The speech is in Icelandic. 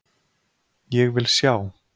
Ég vil sjá